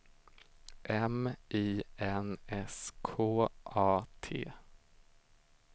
M I N S K A T